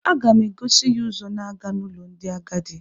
A ga m egosi ya ụzọ na-aga n'ụlọ ndị agadi